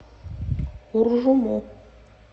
уржуму